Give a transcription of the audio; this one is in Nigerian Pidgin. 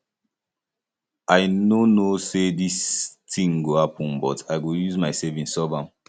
i no know say dis thing go happen but i go use my savings solve am